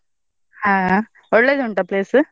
ಆಹ್ ಒಳ್ಳೆದುಂಟಾ place ?